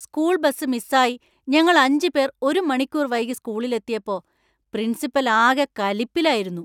School bus മിസ്സായി ഞങ്ങൾ അഞ്ച് പേർ ഒരു മണിക്കൂർ വൈകി സ്കൂളിൽ എത്തിയപ്പോ പ്രിൻസിപ്പൽ ആകെ കലിപ്പിലായിരുന്നു.